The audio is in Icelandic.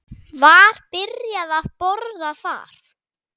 Var byrjað að bora þar